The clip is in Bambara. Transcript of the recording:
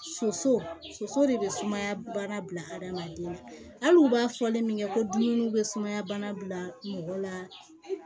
Soso de bɛ sumaya bana bila hadamaden na hali u b'a fɔlen min kɛ ko dumuni bɛ sumaya bana bila mɔgɔ la